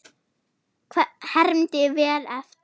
Hermdi vel eftir.